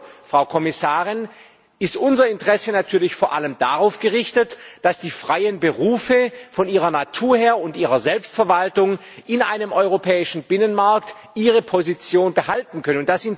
Gleichwohl, Frau Kommissarin, ist unser Interesse natürlich vor allem darauf gerichtet, dass die freien Berufe von ihrer Natur her und angesichts ihrer Selbstverwaltung in einem europäischen Binnenmarkt ihre Position behalten können.